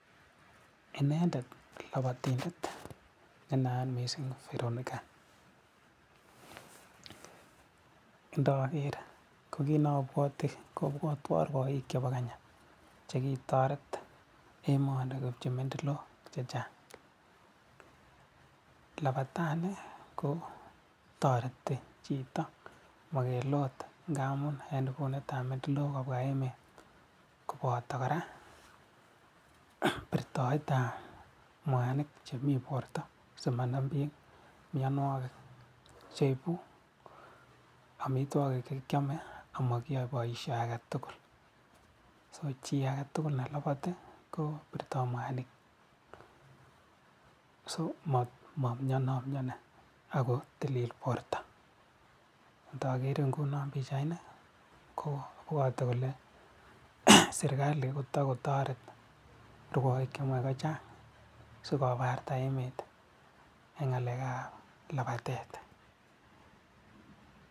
Inendet labatindet ne nayat mising Veronica, ndokeer kobwatwan akobo rwoik chebo Kenya chekitoret emoni koipchi medolaik chechang. Labati kotoreti chito makelut ngamun eng lamunot netindoi kobwa emet koboto kora pirtoetab mwamik chemi borto simanam mianwokik amitwokik chekiame ama kiyoe boisio age tugul. So chi age tugul ne labati kopirtoi mwanik , so mamianomiani ako tilil borto. Takeere nguno pichaini abwat ale serikali kotokotpret rwaik chemae kochang sikoparta emet eng ngalekab labatet.